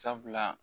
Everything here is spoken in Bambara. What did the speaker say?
Sabula